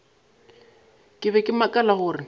ke be ke makala gore